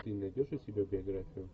ты найдешь у себя биографию